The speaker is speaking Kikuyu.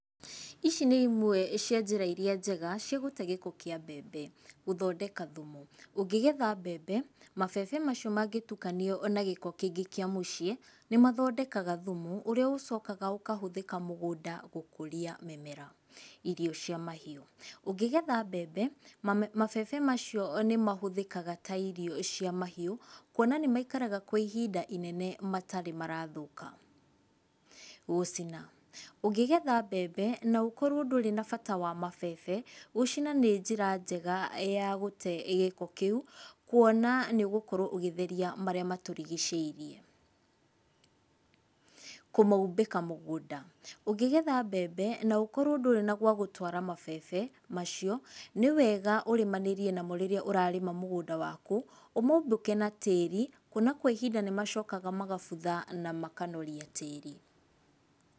Ici nĩ imwe cia njĩra iria njega, cia gũte gĩko kĩa mbembe. Gũthondeka thumu. Ungĩgetha mbembe, mabebe macio mangĩtukanio na gĩko kĩngĩ kĩa mũciĩ, nĩ mathondekaga thumu, ũrĩa ũcokaga ũkahũthĩka mũgũnda gũkũria mĩmera. Irio cia mahiũ. Ũngĩgetha mbembe, mabebe macio nĩmahũthĩkaga ta irio cia mahiũ, kuona nĩmaikaraga kwa ihinda rĩnene matarĩ marathũka. Gũcina. Ũngĩgetha mbembe, na ũkorũo ndũrĩ na bata wa mabebe, gũcina nĩ njĩra njega ya gũte gĩko kĩu, kuona nĩ ũgũkorũo ũgĩtheria marĩa matũrigicĩirie. Kũmoimbĩka mũgũnda. Ũngĩgetha mbembe, na ũkorũo ndũrĩ na gwa gũtũara mabebe, macio, nĩ wega ũrĩmanĩrie namo rĩrĩa ũrarĩma mũgũnda waku, ũmoimbĩke na tĩri, kuona kwa ihinda nĩ macokaga magabutha na makanoria tĩri.